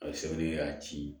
A bɛ sɛbɛnni kɛ k'a ci